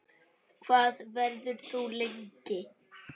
Hvað verður þú lengi?